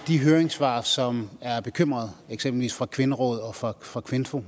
de høringssvar som er bekymrede eksempelvis fra kvinderådet og fra fra kvinfo